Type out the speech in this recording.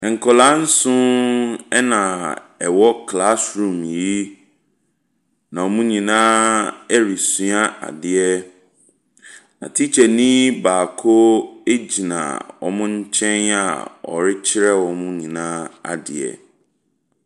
Nkwadaa nson na wɔwɔ classroom yi, na wɔn nyinaa resua adeɛ. Na tikyani baako gyina wɔn nkyɛn a ɔrekyerɛ wɔn nyinaa adeɛ.